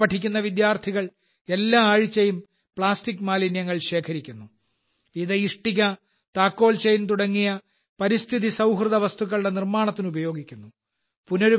ഇവിടെ പഠിക്കുന്ന വിദ്യാർത്ഥികൾ എല്ലാ ആഴ്ചയും പ്ലാസ്റ്റിക് മാലിന്യങ്ങൾ ശേഖരിക്കുന്നു ഇത് ഇഷ്ടിക താക്കോൽ ചെയിൻ തുടങ്ങിയ പരിസ്ഥിതി സൌഹൃദ വസ്തുക്കളുടെ നിർമ്മാണത്തിന് ഉപയോഗിക്കുന്നു